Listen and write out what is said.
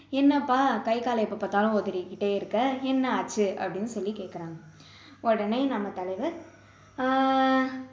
என்னப்பா கை காலை எப்போ பார்த்தாலும் உதறிக்கிட்டே இருக்க என்ன ஆச்சு அப்படின்னு சொல்லி கேட்குறாங்க உடனே நம்ம தலைவர் ஆஹ்